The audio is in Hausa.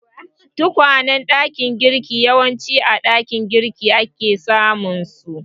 Katakwayen ɗakin girki yawanci a ɗakin girki ake samunsu.